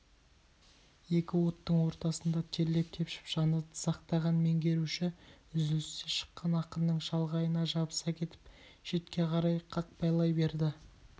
екі оттың ортасында терлеп-тепшіп жаны дызақтаған меңгеруші үзілісте шыққан ақынның шалғайына жабыса кетіп шетке қарай қақпайлай берді